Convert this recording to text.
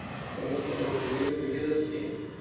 তো আমরা তো অনেক গভীরে দিকে যাচ্ছি